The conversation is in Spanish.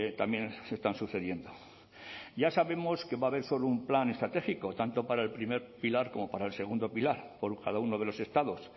también se están sucediendo ya sabemos que va a haber un plan estratégico tanto para el primer pilar como para el segundo pilar con cada uno de los estados